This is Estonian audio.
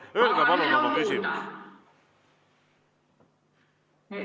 Öelge palun oma küsimus!